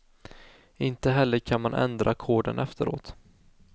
Inte heller kan man ändra koden efteråt.